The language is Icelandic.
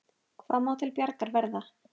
Hvað má til bjargar verða?